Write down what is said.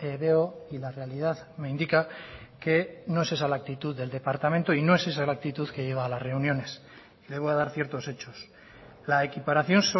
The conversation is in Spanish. veo y la realidad me indica que no es esa la actitud del departamento y no es esa la actitud que lleva a las reuniones le voy a dar ciertos hechos la equiparación